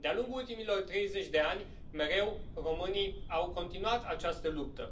De a lungul ultimilor 30 de ani, mereu, românii au continuat această luptă.